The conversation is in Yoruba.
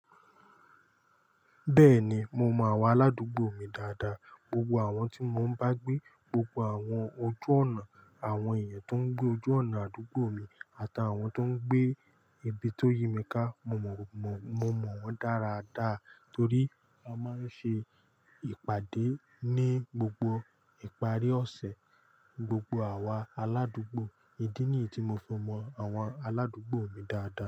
Bẹ́ẹ̀ni, mo mọ àwọn aládùúgbò mi dáadáa. Gbogbo àwọn tí mo ń bá gbé, gbogbo àwọn ojú ọ̀nà, àwọn èèyàn tó ń gbé ojú ọ̀nà àdúgbò mi àtàwọn tó ń gbé ibi tó yí mi ká, mo mọ wọ́n dáradára torí a máa ń ṣe ìpàdé ní gbogbo ìparí ọ̀sẹ̀. Gbogbo àwa aládùúgbò, ìdí nìyí tí mo fimọ àwọn aládùúgbò mi dáadáa.